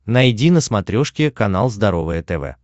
найди на смотрешке канал здоровое тв